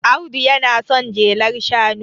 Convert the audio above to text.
Audu yana son jelar shanu